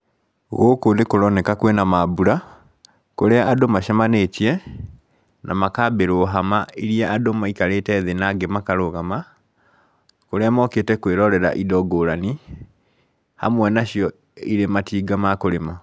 Gũkũ nĩ kũroneka kwĩna maambura, kũrĩa andũ macemanĩtie, na makambĩrwo hama iria andũ maikarĩte thĩ na angĩ makarũgama, kũrĩa mokĩte kwĩrorera indo ngũrani, hamwe nacio irĩ matinga ma kũrĩma.